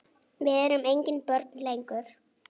Við erum engin börn lengur.